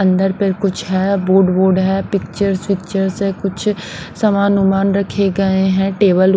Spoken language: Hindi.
अंदर पर कुछ है बोर्ड बोर्ड है पिक्चर्स पिक्चर्स है कुछ समान अनुमान रखे गए हैं टेबल।